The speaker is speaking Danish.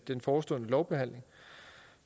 den forestående lovbehandling